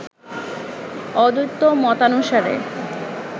অদ্বৈত মতানুসারে